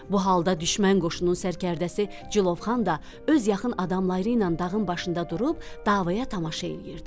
Bu halda düşmən qoşunun sərkərdəsi Cilovxan da öz yaxın adamları ilə dağın başında durub davaya tamaşa eləyirdi.